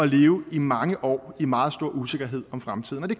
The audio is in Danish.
leve i mange år i meget stor usikkerhed om fremtiden og det